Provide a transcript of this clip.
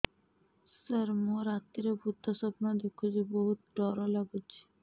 ସାର ମୁ ରାତିରେ ଭୁତ ସ୍ୱପ୍ନ ଦେଖୁଚି ବହୁତ ଡର ଲାଗୁଚି